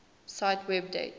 cite web date